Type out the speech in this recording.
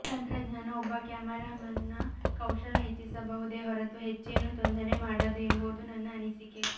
ತಂತ್ರಜ್ಞಾನ ಒಬ್ಬ ಕ್ಯಾಮೆರಾಮನ್ನ ಕೌಶಲ ಹೆಚ್ಚಿಸಬಹುದೇ ಹೊರತೂ ಹೆಚ್ಚೇನೂ ತೊಂದರೆ ಮಾಡದು ಎಂಬುದು ನನ್ನ ಅನಿಸಿಕೆ